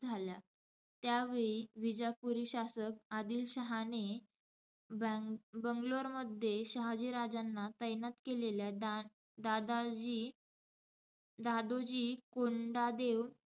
झाल्या. त्यावेळी विजापुरी शासक आदिलशहाने बॅंग~ बंगलोरमध्ये शहाजीराजांना तैनात केलेल्या, दादाजी दादोजी कोंडादेव,